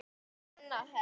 Svenna hefst.